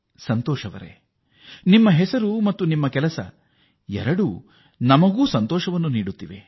ಸಂತೋಷ್ ಅವರೇ ನಿಮ್ಮ ಹೆಸರು ಮತ್ತು ನೀವು ಮಾಡಿರುವ ಕಾರ್ಯ ಎರಡೂ ಸಂತೋಷದಾಯಕವೇ